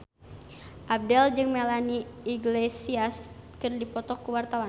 Abdel jeung Melanie Iglesias keur dipoto ku wartawan